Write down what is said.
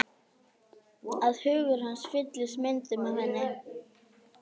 Að hugur hans fylltist myndum af henni.